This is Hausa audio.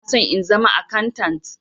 Ina son in zama akantant.